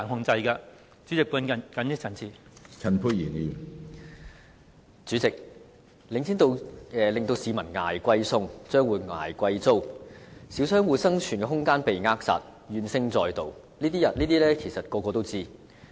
主席，領展房地產投資信託基金令市民"捱貴餸"、商戶"捱貴租"，小商戶生存空間被扼殺，怨聲載道，這些其實人人皆知。